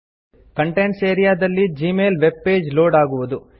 contents area ದಲ್ಲಿ Gmail web page load ಆಗುವುದು